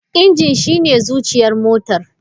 Injin shine zuciyar motar.